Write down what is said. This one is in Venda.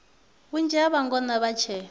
vhunzhi ha vhangona vha tshe